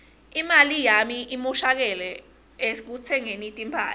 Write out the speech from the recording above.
imali yami imoshakele ekutsengeni timphahla